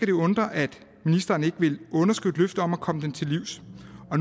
det undre at ministeren ikke vil underskrive et løfte om at komme dem til livs